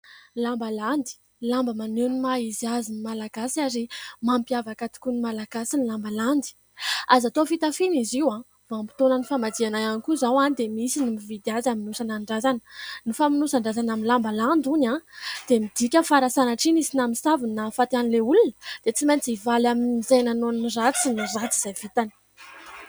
Lamba landy lamba maneho ny maha izy azy ny Malagasy ary mampiavaka tokoa ny Malagasy ny lamba landy; azo atao fitafiana izy io ; vanim-potoanan'ny famadihana ihany koa izao dia misy ny mividy azy amonosana ny razana, ny famonosan-drazana amin'ny lamba landy hono dia midika fa raha sanatria nisy namosavy no nahafaty an'ilay olona dia tsy maintsy hivaly amin'izay nanao ratsy ny ratsy vitany.